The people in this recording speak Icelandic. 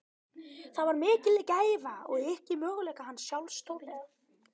Það var mikil gæfa og yki möguleika hans sjálfs stórlega.